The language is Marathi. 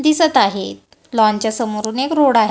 दिसत आहेत लॉनच्या समोरून एक रोड --